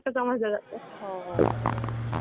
आणि मग टाइमिंग पण त्यांच्यानुसार